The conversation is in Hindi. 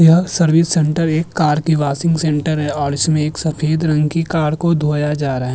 यह सर्विस सेंटर एक कार की वाशिंग सेंटर है और इसमें एक सफ़ेद रंग की कार को धोया जा रहाय।